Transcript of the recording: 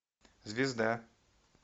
звезда